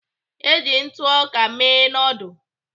Eji ntụ ọka mee noodul.